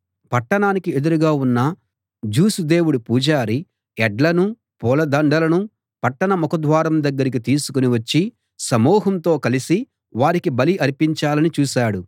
పట్టణానికి ఎదురుగా ఉన్న జూస్ దేవుడి పూజారి ఎడ్లనూ పూల దండలనూ పట్టణ ముఖద్వారం దగ్గరకి తీసుకుని వచ్చి సమూహంతో కలిసి వారికి బలి అర్పించాలని చూశాడు